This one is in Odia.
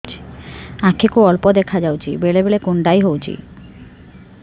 ଆଖି କୁ ଅଳ୍ପ ଦେଖା ଯାଉଛି ବେଳେ ବେଳେ କୁଣ୍ଡାଇ ହଉଛି